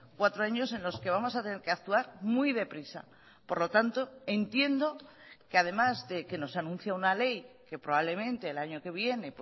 cuatro años en los que vamos a tener que actuar muy deprisa por lo tanto entiendo que además de que nos anuncia una ley que probablemente el año que viene